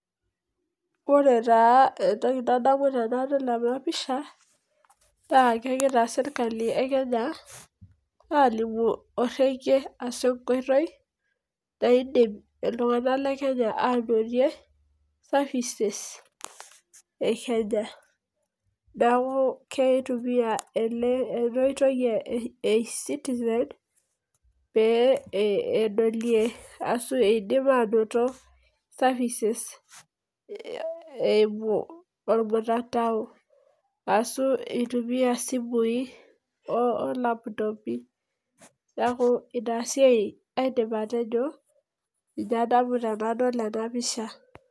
Ore taa entoki nadamu tenadol ena pisha, Nas kegira sirkali Kenya alimu orekie ashu enkoitoi, naidim iltunganak le Kenya aanotie services,e kenya. neeku keitumia ena oitoi ee e citizen peyie edolie ashu eidim aanoto services eimu olmutandao. ashu eitumiae isimui olaputopi. neeku inasiia aidim atejo. ninye adamu tenadol ena pisha.